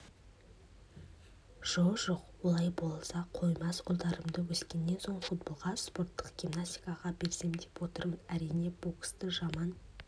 жо-жоқ олай бола қоймас ұлдарымды өскеннен соң футболға спорттық гимнастикаға берсем деп отырмын әрине боксты жаман